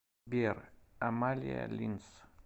сбер амалия линс